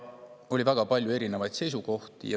Oli väga palju erinevaid seisukohti.